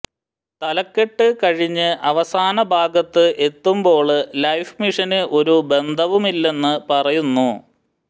തലക്കെട്ട് കഴിഞ്ഞ് അവസാന ഭാഗത്ത് എത്തുമ്പോള് ലൈഫ് മിഷന് ഒരു ബന്ധവുമില്ലെന്ന് പറയുന്നു